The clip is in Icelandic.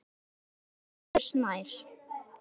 Elsku Bergur Snær.